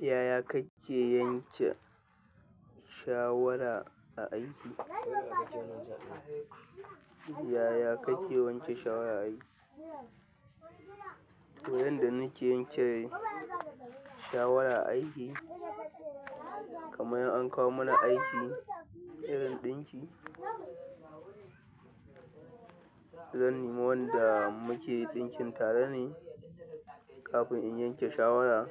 Yaya kake yanke shawara a aiki? Yaya kake yanke shawara a aiki? Yanda nike yanke shawara a aiki, kamar in an kawo mana aiki irin ɗinki, zan nima wanda muke ɗinkin tare ne kafin in yanke shawara.